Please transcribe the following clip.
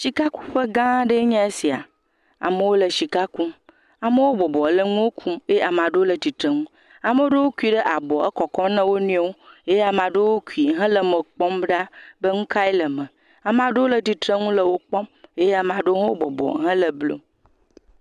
Shikakuƒe gãa aɖee nye sia. Amewo le shika kum. Amewo bɔbɔ le nuwo kum, ye ama ɖewo le tsitreŋu. ame ɖewo kum ɖe abɔ ekɔkɔm na wo nɔewo. Ye ame ɖewo kui hele eme kpɔm ɖa be ŋu kae le eme. ama ɖewo le tsitreŋu le wo kpɔm. Ye ama ɖewo hã bɔbɔ hele blum.